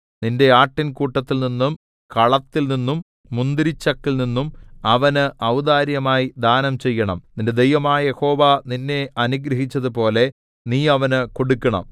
നിന്റെ ആട്ടിൻ കൂട്ടത്തിൽനിന്നും കളത്തിൽനിന്നും മുന്തിരിച്ചക്കിൽനിന്നും അവന് ഔദാര്യമായി ദാനം ചെയ്യണം നിന്റെ ദൈവമായ യഹോവ നിന്നെ അനുഗ്രഹിച്ചതുപോലെ നീ അവന് കൊടുക്കണം